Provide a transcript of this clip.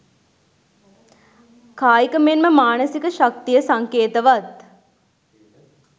කායික මෙන්ම මානසික ශක්තිය සංකේතවත්